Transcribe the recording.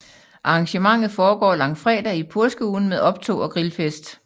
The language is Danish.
Arrangementet foregår langfredag i påskeugen med optog og grilfest